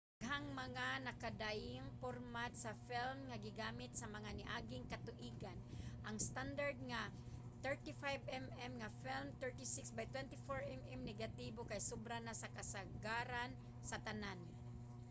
daghang mga nagkadaiyang pormat sa film nga gigamit sa mga niaging katuigan. ang standard nga 35mm nga film 36 by 24mm negatibo kay sobra na sa kasagaran sa tanan